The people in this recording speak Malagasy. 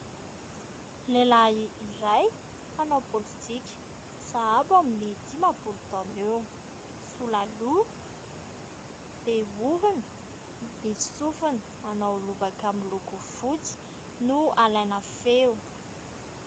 Lehilahy iray, mpanao politika. Sahabo amin'ny dimampolo taona eo. Sola loha, be orona, misy sofina, manao lobaka miloko fotsy no alaina feo.